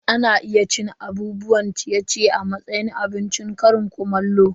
Ana iya cin abubuwan ciye-ciye a matsayin abincin ƙarin kumallo.